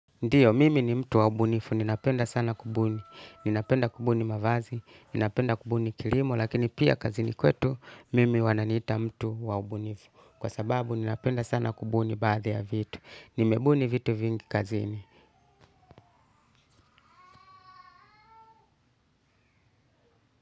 Ndiyo, mimi ni mtu wa ubunifu. Ninapenda sana kubuni. Ninapenda kubuni mavazi. Ninapenda kubuni kilimo. Lakini pia kazini kwetu, mimi wananiita mtu wa ubunifu. Kwa sababu ninapenda sana kubuni baadhi ya vitu. Nimebuni vitu vingi kazini.